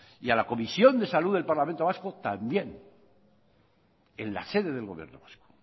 y a la comisión de salud del parlamento vasco también en la sede del gobierno vasco